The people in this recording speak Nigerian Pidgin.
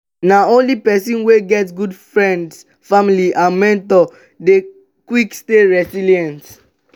na only pesin wey get good friends family and mentor dey quick stay resilience.